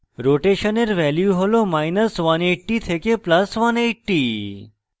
rotation এর value has180 থেকে + 180